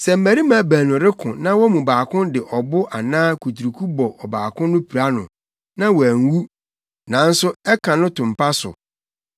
“Sɛ mmarima baanu reko na wɔn mu baako de ɔbo anaa kuturuku bɔ ɔbaako no pira no, na wanwu, nanso ɛka no to mpa so,